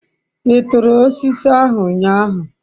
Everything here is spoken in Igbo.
I turu osiso ahu unyahu?